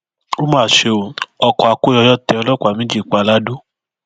ó mà ṣe ó ọkọ akóyọyọ tẹ ọlọpàá méjì pa lado